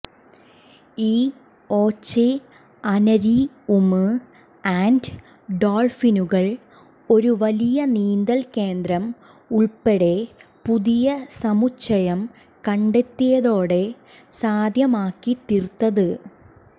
ഈ oceanarium and ഡോൾഫിനുകൾ ഒരു വലിയ നീന്തൽ കേന്ദ്രം ഉൾപ്പെടെ പുതിയ സമുച്ചയം കണ്ടെത്തിയതോടെ സാധ്യമാക്കിത്തീർത്തത്